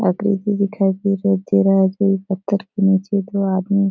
आकृति दिखाई दे रहे दे रहा जो पत्थर के नीचे दो आदमी --